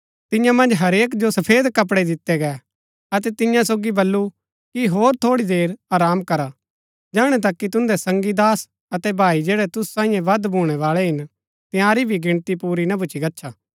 तियां मन्ज हरेक जो सफेद कपड़ै दितै गै अतै तियां सोगी बल्लू कि होर थोड़ी देर आराम करा जेहणा तक कि तुदैं संगी दास अतै भाई जैड़ै तुसु सांईये वध भूणैवाळै हिन तंयारी भी गिणती पूरी ना भूच्ची गच्छा